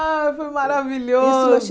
Ah, foi maravilhoso! Isso eu achei